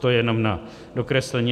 To jenom na dokreslení.